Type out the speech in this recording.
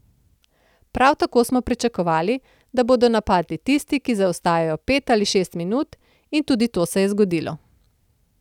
Prav tako smo pričakovali, da bodo napadli tisti, ki zaostajajo pet ali šest minut in tudi to se je zgodilo.